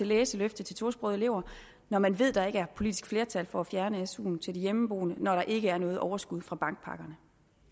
læseløft til tosprogede elever når man ved at der ikke er politisk flertal for at fjerne suen til de hjemmeboende og når der ikke er noget overskud fra bankpakkerne